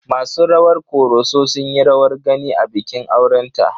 Masu rawar Ƙoroso sun yi rawar gani a bikin aurenta.